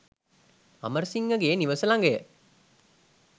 අමරසිංහ ගේ නිවස ළඟය.